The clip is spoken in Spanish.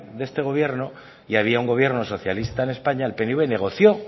de este gobierno y había un gobierno socialista en españa el pnv negoció